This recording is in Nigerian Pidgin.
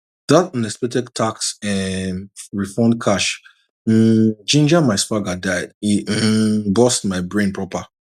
that unexpected tax um refund cash um ginger my swagger die e um burst my brain proper